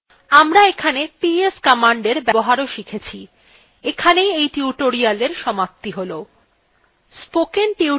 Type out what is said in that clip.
আমরা এখানে ps commander ব্যবহারও শিখেছি এখানেই we tutorialwe সমাপ্তি হল